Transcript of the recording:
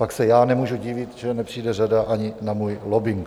Pak se já nemůžu divit, že nepřijde řada ani na můj lobbing.